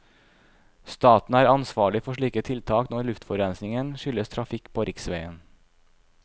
Staten er ansvarlig for slike tiltak når luftforurensningen skyldes trafikk på riksveien.